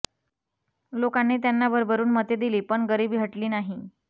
लोकांनी त्यांना भरभरून मते दिली पण गरिबी हटली नाही